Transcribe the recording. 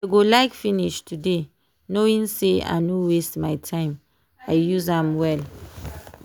i go like finish today knowing sey i no waste my time i use am well.